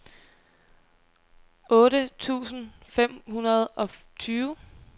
otte tusind fem hundrede og tyve